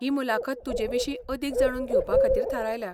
ही मुलाखत तुजेविशीं अदीक जाणून घेवपा खातीर थारायल्या.